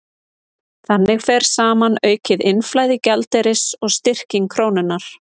Þannig fer saman aukið innflæði gjaldeyris og styrking krónunnar.